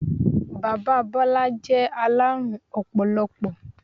Bàbá Bọ́lá jẹ́ alárùn ọpọlọpọ.